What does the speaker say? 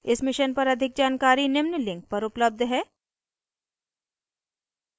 इस मिशन पर अधिक जानकारी निम्न लिंक पर उपलब्ध है